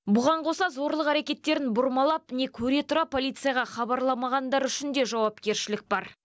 бұған қоса зорлық әрекеттерін бұрмалап не көре тұра полицияға хабарламағандар үшін де жауапкершілік бар